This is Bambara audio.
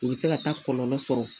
U bɛ se ka taa kɔlɔlɔ sɔrɔ